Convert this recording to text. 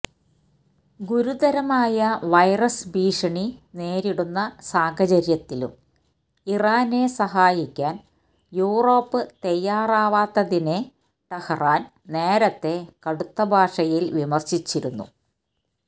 ഗുരുതരമായ വൈറസ് ഭീഷണി നേരിടുന്ന സാഹചര്യത്തിലും ഇറാനെ സഹായിക്കാൻ യൂറോപ്പ് തയ്യാറാവാത്തതിനെ ടെഹ്റാൻ നേരത്തേ കടുത്തഭാഷയിൽ വിമർശിച്ചിരുന്നു